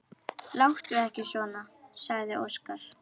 Láttu ekki svona, sagði Óskar.